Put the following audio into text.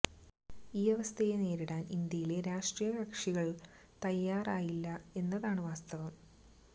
ഈ അവസ്ഥയെ നേരിടാന് ഇന്ത്യയിലെ രാഷ്ട്രീയ കക്ഷികൾ തയ്യാറായില്ല എന്നാണു വാസ്തവം